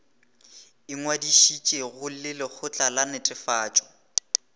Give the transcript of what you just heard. ingwadišitšego le lekgotla la netefatšo